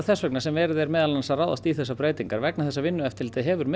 þess vegna sem verið er meðal annars að ráðast í þessar breytingar vegna þess að Vinnueftirlitið hefur